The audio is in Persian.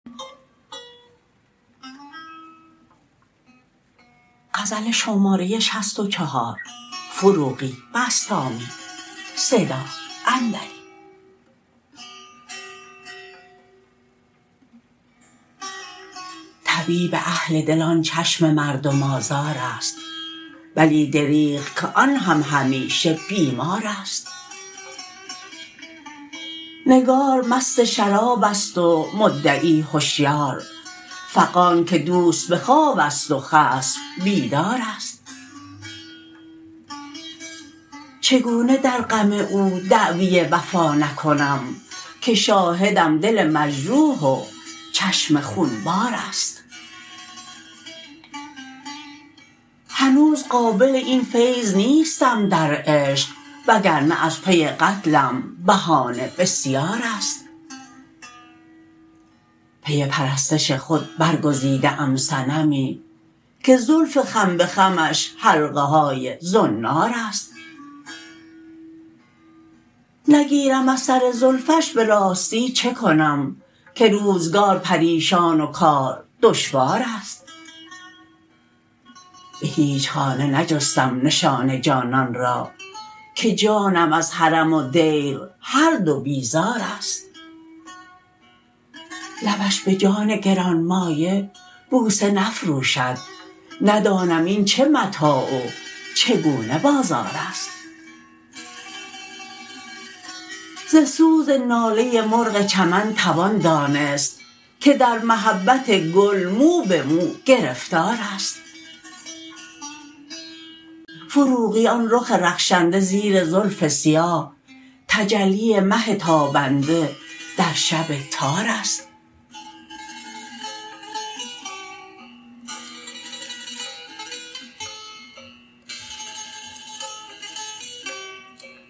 طبیب اهل دل آن چشم مردم آزار است ولی دریغ که آن هم همیشه بیمار است نگار مست شراب است و مدعی هشیار فغان که دوست به خواب است و خصم بیدار است چگونه در غم او دعوی وفا نکنم که شاهدم دل مجروح و چشم خون بار است هنوز قابل این فیض نیستم در عشق وگرنه از پی قتلم بهانه بسیار است پی پرستش خود برگزیده ام صنمی که زلف خم به خمش حلقه های زنار است نگیرم ار سر زلفش به راستی چه کنم که روزگار پریشان و کار دشوار است به هیچ خانه نجستم نشان جانان را که جانم از حرم و دیر هر دو بیزار است لبش به جان گران مایه بوسه نفروشد ندانم این چه متاع و چگونه بازار است ز سوز ناله مرغ چمن توان دانست که در محبت گل مو به مو گرفتار است فروغی آن رخ رخشنده زیر زلف سیاه تجلی مه تابنده در شب تار است